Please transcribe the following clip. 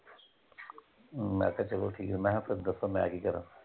ਮੈਂ ਕਿਹਾ ਚਲੋ ਠੀਕ ਆ ਮੈਂ ਕਿਹਾ ਫੇਰ ਦੱਸੋ ਮੈਂ ਕੀ ਕਰਾਂ?